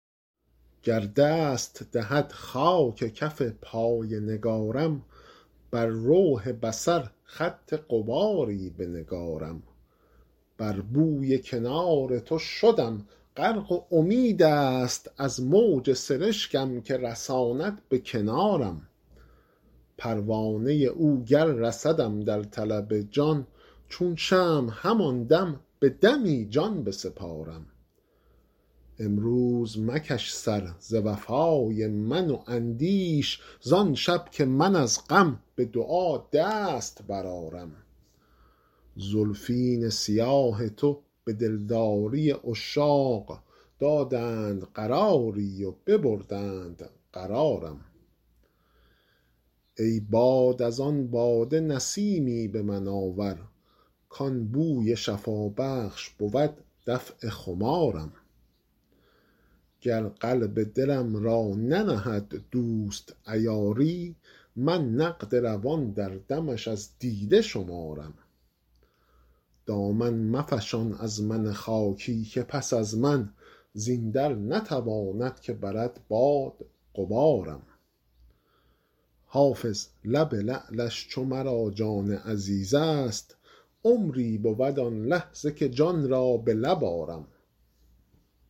گر دست دهد خاک کف پای نگارم بر لوح بصر خط غباری بنگارم بر بوی کنار تو شدم غرق و امید است از موج سرشکم که رساند به کنارم پروانه او گر رسدم در طلب جان چون شمع همان دم به دمی جان بسپارم امروز مکش سر ز وفای من و اندیش زان شب که من از غم به دعا دست برآرم زلفین سیاه تو به دلداری عشاق دادند قراری و ببردند قرارم ای باد از آن باده نسیمی به من آور کان بوی شفابخش بود دفع خمارم گر قلب دلم را ننهد دوست عیاری من نقد روان در دمش از دیده شمارم دامن مفشان از من خاکی که پس از من زین در نتواند که برد باد غبارم حافظ لب لعلش چو مرا جان عزیز است عمری بود آن لحظه که جان را به لب آرم